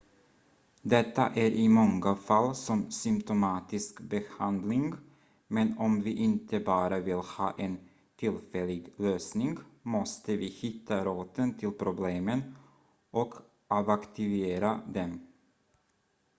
detta är i många fall som symptomatisk behandling men om vi inte bara vill ha en tillfällig lösning måste vi hitta roten till problemen och avaktivera dem